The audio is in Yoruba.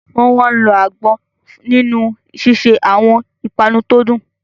Wọ́n máa ń lo àgbọn nínú ṣíṣe àwọn ìpanu tó dùn